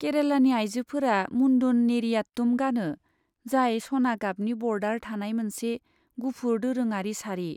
केरालानि आइजोफोरा मुन्दुन नेरियाटुम गानो, जाय सना गाबनि ब'र्डार थानाय मोनसे गुफुर दोरोङारि सारि।